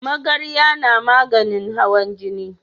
Magarya na maganin hawan jini